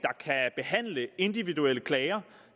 behandle individuelle klager